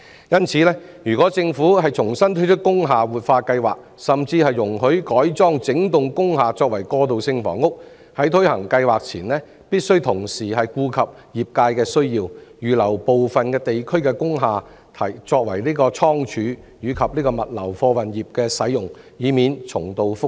因此，如果政府重新推出工廈活化計劃，甚至容許改裝整幢工廈為過渡性房屋，在推行計劃前，必須同時顧及業界的需要，預留部分地區的工廈作為倉儲設施，供物流貨運業使用，以免重蹈覆轍。